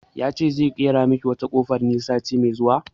Ya ce zai ƙera miki wata kofar ne sati mai zuwa